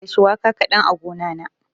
Ina da shuwaka kaɗan a gona na.